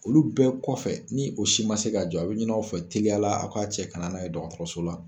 Olu bɛɛ kɔfɛ ni o si man se k'a jɔ a bɛ ɲini aw fɛ teliya la aw k'a cɛ ka na n'a ye dɔgɔtɔrɔso la.